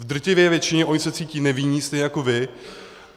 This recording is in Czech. V drtivé většině se oni cítí nevinní, stejně jako vy.